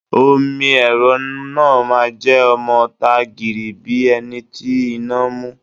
Omi ẹ̀rọ náà máa jẹ́ ọmọ ta gìrì bíi ẹni tí iná mú.